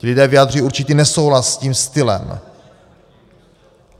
Ti lidé vyjadřují určitý nesouhlas s tím stylem.